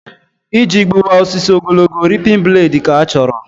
Iji gbuwa osisi ogologo, ripin bladị ka-achọrọ